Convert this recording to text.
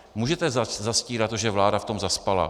Můžete zastírat to, že vláda v tom zaspala.